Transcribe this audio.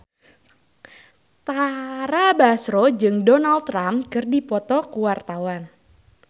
Tara Basro jeung Donald Trump keur dipoto ku wartawan